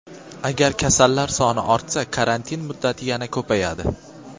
Agar kasallar soni ortsa, karantin muddati yana ko‘payadi.